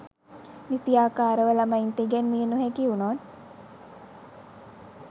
නිසියාකාරව ළමයින්ට ඉගැන්විය නොහැකි වුණොත්